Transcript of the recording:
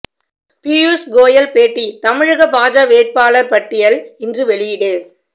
பியூஸ் கோயல் பேட்டி தமிழக பாஜ வேட்பாளர் பட்டியல் இன்று வெளியீடு